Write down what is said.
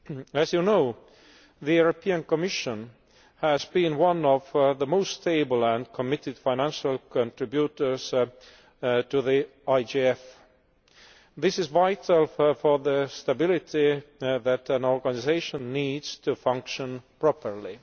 As you know, the Commission has been one of the most stable and committed financial contributors to the IGF. This is vital for the stability that an organisation needs to function properly.